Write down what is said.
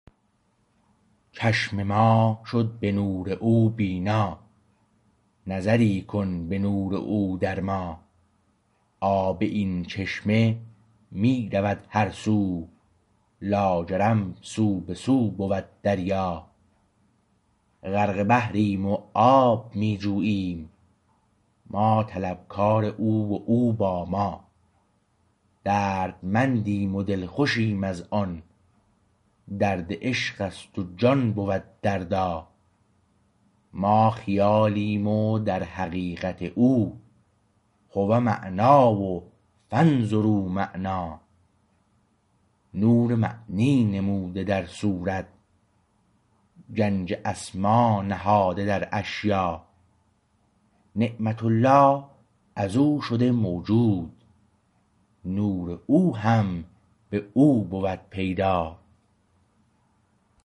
چشم ما شد به نور او بینا نظری کن به نور او در ما آب این چشمه می رود هر سو لاجرم سو به سو بود دریا غرق بحریم و آب می جوییم ما طلبکار او و او با ما دردمندیم و دلخوشیم از آن درد عشق است و جان بود دردا ما خیالیم و در حقیقت او هو معنا و فانظروا معنا نور معنی نموده در صورت گنج اسما نهاده در اشیا نعمت الله از او شده موجود نور او هم به او بود پیدا